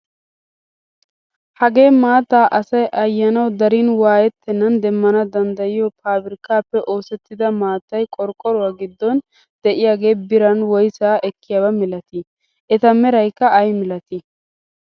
Hagee maattaa asay ayanawu darin waayettenan demmana danddayiyoo pabirkkaappe oosettida maattay qorqoruwaa giddon de'iyaagee biran woysaa ekkiyaaba milatii? eta meraykka ayi milatii?